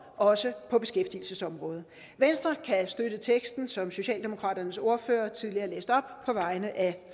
også på beskæftigelsesområdet venstre kan støtte teksten som socialdemokratiets ordfører tidligere læste op på vegne af